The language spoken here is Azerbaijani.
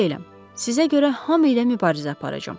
Sizə görə hamı ilə mübarizə aparacam.